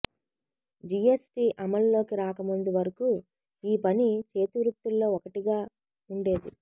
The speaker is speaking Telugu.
జీఎస్టీ అమల్లోకి రాక ముందు వరకు ఈ పని చేతి వృత్తుల్లో ఒకటిగా ఉండేది